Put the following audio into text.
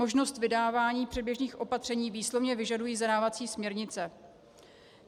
Možnost vydávání předběžných opatření výslovně vyžadují zadávací směrnice.